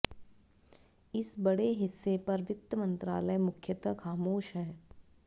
इस बड़े हिस्से पर वित्त मंत्रालय मुख्यतः खामोश है